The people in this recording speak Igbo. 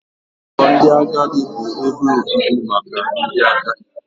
Ụlọ ndị agadi bụ ebe obibi maka ndị agadi.